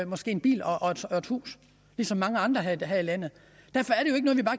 måske en bil og et hus ligesom mange andre her i landet